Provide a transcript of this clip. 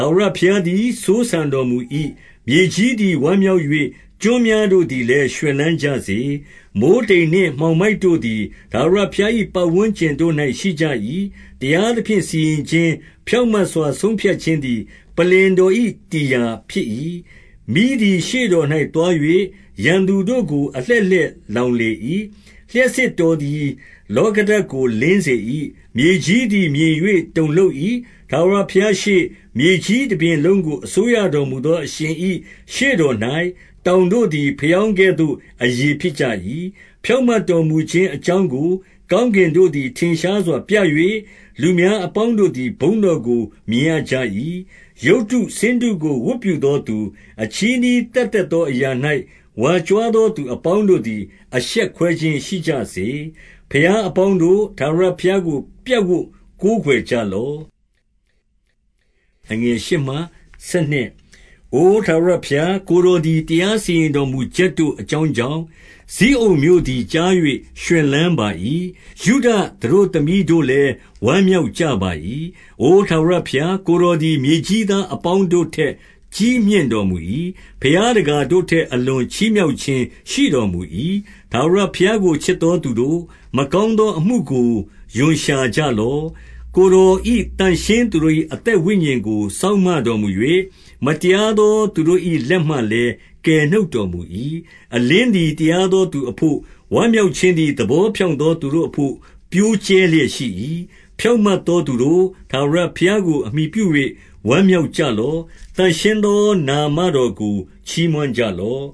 ာဝရဘုရားသည် စိုးစံတော်မူ၏။ မြေကြီး သည် ဝမ်းမြောက်၍၊ ကျွန်းများတို့သည်လည်း ရွှင်လန်း ကြစေ။ 2 မိုဃ်းတိမ်နှင့် မှောင်မိုက်တို့သည် ထာဝရဘုရား ၏ ပတ်ဝန်းကျင်တို့၌ရှိကြ၏။ တရားသဖြင့် စီရင်ခြင်း၊ ဖြောင့်မတ်စွာဆုံးဖြတ်ခြင်းသည် ပလ္လင်တော်၏တည်ရာ ဖြစ်၏။ 3 မီးသည် ရှေ့တော်၌သွား၍၊ ရန်သူတို့ကို အလှည့် လှည့်လောင်လေ၏။ 4 လျှပ်စစ်တော်သည် လောကဓါတ်ကို လင်းစေ ၏။ မြေကြီးသည် မြင်၍တုန်လှုပ်၏။ 5 ထာဝရဘုရားရှေ့၊ မြေကြီးတပြင်လုံးကို အစိုးရ တော်မူသော အရှင်၏ရှေ့တော်၌၊ တောင်တို့သည် ဘယောင်းကဲ့သို့ အရည်ဖြစ်ကြ၏။ 6 ဖြောင့်မတ်တော်မူခြင်းအကြောင်းကို ကောင်း ကင်တို့သည် ထင်ရှားစွာပြ၍၊ လူများအပေါင်းတို့သည် ဘုန်းတော်ကို မြင်ရကြ၏။ 7 ရုပ်တုဆင်းတုကို ဝတ်ပြုသောသူ၊ အချည်းနှီး သက်သက်သောအရာ၌ ဝါကြွားသောသူ အပေါင်းတို့ သည် အရှက်ကွဲခြင်းရှိကြစေ။ ဘုရားအပေါင်းတို့၊ ထာဝရ ဘုရားကို ပြပ်ဝပ်ကိုးကွယ်ကြလော့။ 8 အိုထာဝရဘုရား၊ ကိုယ်တော်သည် တရားစီရင် တော်မူချက်တို့အကြောင်းကြောင့်၊ ဇိအုန်မြို့သည်ကြား၍ ရွှင်လန်းပါ၏။ ယုဒသတို့သမီးတို့လည်း ဝမ်းမြောက်ကြ ပါ၏။ 9 အိုထာဝရဘုရား၊ ကိုယ်တော်သည် မြေကြီးသား အပေါင်းတို့ထက် ကြီးမြင့်တော်မူ၏။ ဘုရားတကာတို့ ထက် အလွန်ချီးမြှောက်ခြင်း ရှိတော်မူ၏။ 10 ထာဝရဘုရားကို ချစ်သောသူတို့၊ မကောင်း သောအမှုကို ရွံရှာကြလော့။ ကိုယ်တော်၏ သန့်ရှင်းသူတို့ ၏ အသက်ဝိညာဉ်ကို စောင့်မတော်မူ၍၊ မတရားသော သူတို့၏လက်မှလည်း ကယ်နှုတ်တော်မူ၏။ 11 အလင်းသည် တရားသောသူအဘို့၊ ဝမ်းမြောက် ခြင်းသည် သဘောဖြောင့်သော သူတို့အဘို့ ပျိုးကြဲလျက် ရှိ၏။ 12 ဖြောင့်မတ်သောသူတို့၊ ထာဝရဘုရားကို အမှီပြု ၍ ဝမ်းမြောက်ကြလော့။ သန့်ရှင်းသော နာမတော်ကို ချီးမွမ်းကြလော့